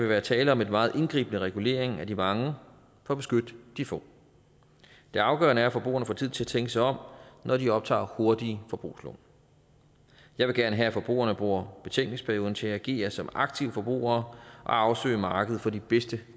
være tale om en meget indgribende regulering af de mange for at beskytte de få det afgørende er at forbrugerne får tid til at tænke sig om når de optager hurtige forbrugslån jeg vil gerne have at forbrugerne bruger betænkningsperioden til at agere som aktive forbrugere og afsøge markedet for de bedste